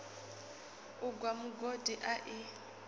u gwa mugodi a i